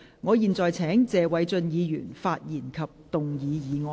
我現在請謝偉俊議員發言及動議議案。